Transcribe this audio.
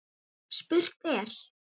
Spurt er?